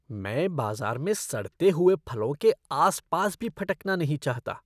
मैं बाज़ार में सड़ते हुए फलों के आस पास भी फटकना नहीं चाहता।